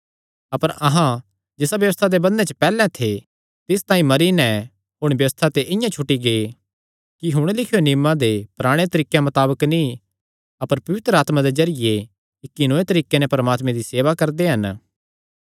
अपर अहां जिसा व्यबस्था दे बंधने च पैहल्ले थे तिस तांई मरी नैं हुण व्यबस्था ते इआं छुटी गै कि हुण लिखियो नियमां दे पराणे तरिकेयां मताबक नीं अपर पवित्र आत्मा दे जरिये इक्की नौये तरीके नैं परमात्मे दी सेवा करदे हन